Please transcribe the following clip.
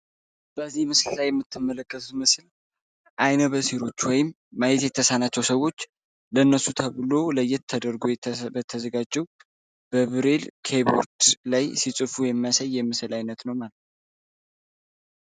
በዚህ ምስል ላዓይነት ተመለከሱት ምስል አይነ በሴሮች ወይም ማየት የተሳነቸው ሰዎች ለእነሱ ተብሎ ለየት ተደርገ በተዘጋጅው በብሬል ኬይቦርድ ላይ ሲጽፉ የመሰይ የምስል ዓይነት ነው።